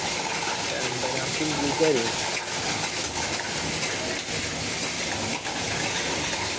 ലണ്ടനാർക്ക് english അറിയോ